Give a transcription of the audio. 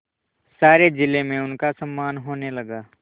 सारे जिले में उनका सम्मान होने लगा